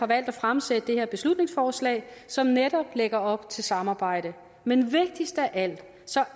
valgt at fremsætte det her beslutningsforslag som netop lægger op til samarbejde men vigtigst af alt